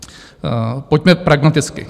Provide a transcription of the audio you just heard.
Pojďme pragmaticky.